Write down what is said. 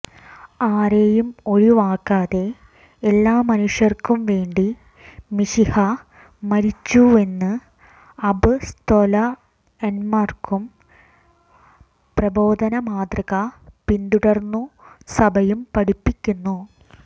ആരെയും ഒഴിവാക്കാതെ എല്ലാ മനുഷ്യര്ക്കും വേണ്ടി മിശിഹാ മരിച്ചുവെന്ന് അപ്പ്സ്തോലന്മാരുടെ പ്രബോധന മാതൃക പിന്തുടര്ന്നു സഭയും പഠിപ്പിക്കുന്നു